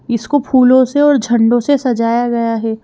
इसको फूलों से और झंडों से सजाया गया है।